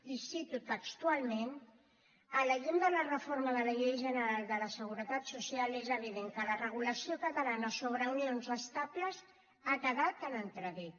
i ho cito textualment a la llum de la reforma de la llei general de la seguretat social és evident que la regulació catalana sobre unions estables ha quedat en entredit